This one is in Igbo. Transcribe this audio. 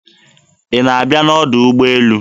Ị na-abịa n'ọdọ ụgbọelu?